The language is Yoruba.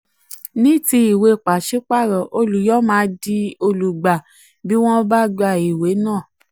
ní ti ìwé pàṣípààrọ̀ olùyọ máa di olùgbà bí wọ́n bá gba ìwé náà.